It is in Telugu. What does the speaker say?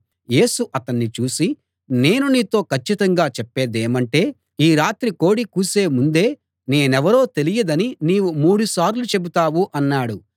యేసు అతణ్ణి చూసి నేను నీతో కచ్చితంగా చెప్పేదేమంటే ఈ రాత్రి కోడి కూసే ముందే నేనెవరో తెలియదని నీవు మూడుసార్లు చెబుతావు అన్నాడు